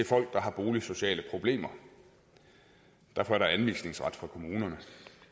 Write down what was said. folk der har boligsociale problemer derfor er der anvisningsret for kommunerne